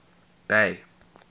bay